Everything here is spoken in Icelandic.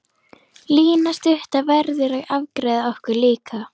Lína stutta verður að afgreiða okkur líka.